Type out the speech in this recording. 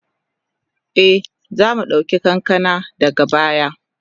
E, za mu ɗauki kankana daga baya.